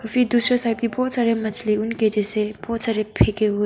फिर दूसरे साइड बहुत सारे मछली उनके जैसे बहुत सारे फेक हुए--